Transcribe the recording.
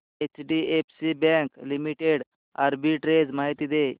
HDFC bank limited arbitrage माहिती दे